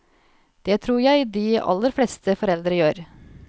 Det tror jeg de aller fleste foreldre gjør.